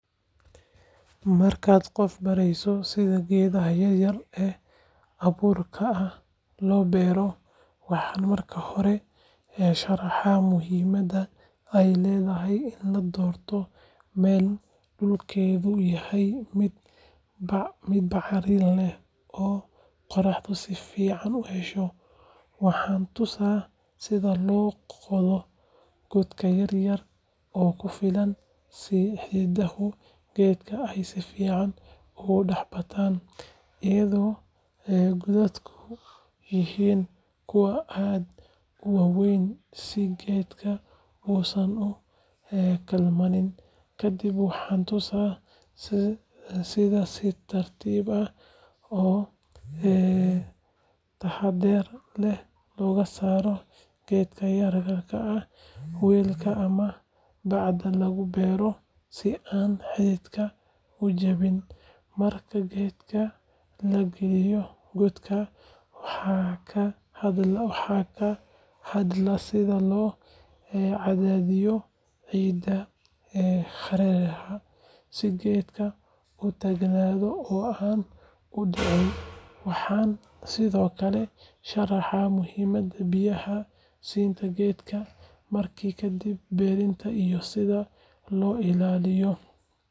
Marka aan qof barayo sida miraha loo goosto, waxaan ugu horreyn sharaxaa in la hubiyo in miraha ay bislaatay oo diyaar u tahay in la goosto si aan loo dhaawacin geedka iyo dalagga intiisa kale. Waxaan tusaa sida loo isticmaalo mindida ama mindi-goynta si taxaddar leh oo aan miraha la goosan. Waxaan ka digaa in la jiido geedka ama la jabiyo laamaha si aysan u waxyeelloobin, taasoo keeni karta in geedku xumaado. Waxa kale oo aan tilmaamaa in miraha la dhigo meel nadiif ah oo hadh leh, si aysan u wasakhoobin. Waxaan sidoo kale ku boorinayaa in la ururiyo miraha wakhtiga ugu habboon si looga fogaado in ay dhulka ku dhacaan ama xayawaanku cunaan. Intaa kadib, waxaan ku dhiirrigeliyaa in qofku had iyo jeer ilaalinayo nadaafadda gacmaha iyo qalabka la adeegsanayo. Tani waxay.